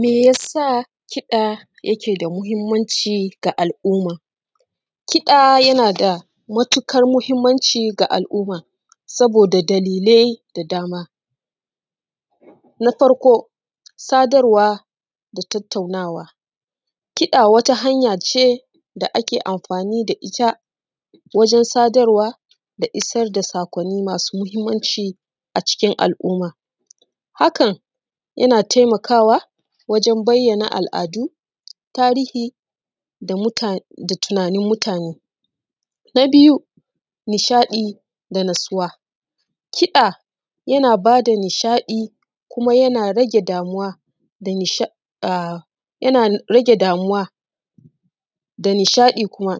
Me ya sa kiɗa yake da muhimmanci ga al’umma? kiɗa yana da matuƙar muhimmanci ga al’umma saboda dalilai da dama: na farko, sadarwa da tattaunawa, kiɗa wata hanya ce da ake amfani da ita wajen sadarwa da isar da saƙwanni masu muhimmanci a cikin al’umma. Hakan yana taimakawa wajen bayyana al’adu, tarihi da tunanin mutane. Na biyu, nishaɗi da natsuwa, kiɗa yana ba da nishaɗi kuma yana rage damuwa, da nishaɗi, yana rage damuwa da nishaɗi kuma.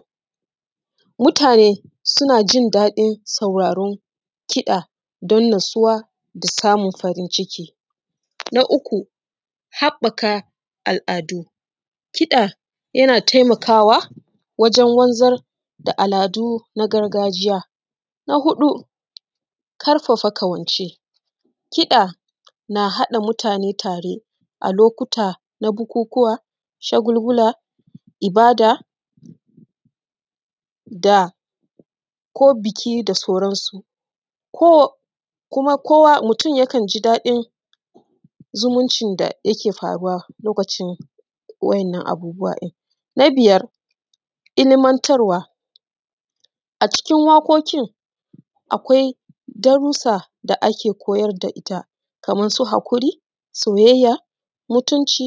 Mutane suna jin daɗin sauraron kiɗa don natsuwa da samun farin ciki. Na uku, haɓɓaka al’adu, kiɗa yana taimakwa wajen wanzar da al’adu na gargajiya. Na huɗu, ƙarfafa ƙawance, kiɗa na haɗa mutane tare a lokuta na bukukuwa, shagulgula, ibada da ko buki da sauransu. Ko kuma kowa mutum yakan ji daɗi in zumuncin da yake faruwa lokacin waɗannan abubuwa ɗin. Na biyar, ilimantarwa, a cikin waƙoƙin akwai darussa da ake koyar da ita kamar su haƙuri, soyayya, mutunci,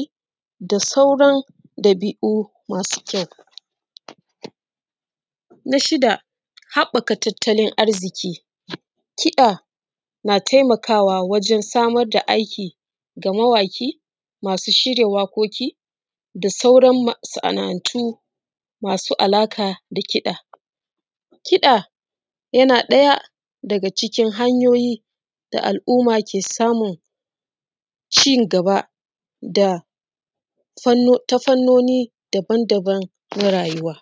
da sauran ɗabi’u masu kyau. Na shida, haɓɓaka tattalin arziki, kiɗa na taimakwa wajn samar da aiki ga mawaƙi, masu shirya waƙoƙi da sauran masana’antu masu alaƙa da kiɗa. kiɗa yana ɗaya daga cikin hanyoyi da al’umma ke samun ci gaba ta fannoni daban daban na rayuwa.